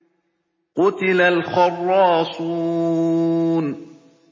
قُتِلَ الْخَرَّاصُونَ